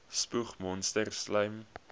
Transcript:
spoeg monsters slym